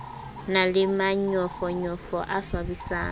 na le manyofonyofo a swabisang